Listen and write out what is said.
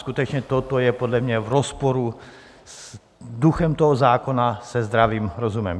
Skutečně toto je podle mě v rozporu s duchem toho zákona, se zdravým rozumem.